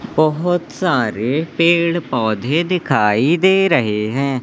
बहोत सारे पेड़-पौधे दिखाई दे रहें हैं।